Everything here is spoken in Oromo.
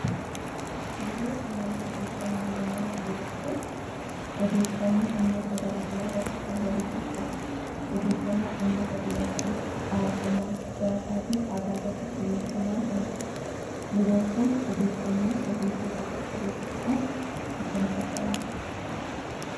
Biiroo Qunnamtii Odeeffannoo Oromiyaa Biiroon kun odeeffannoo dhimmoota garaa garaa irratti kan walitti qabudha. Odeeffannoo dhimmoota dinagdee, hawaasummaa, siyaasaa fi aadaa irratti xiyyeeffannaan kan hojjetudha. Biiroon kun odeeffannoo sirrii fi haqa qabeessa ta'an akkamitti adda baafata?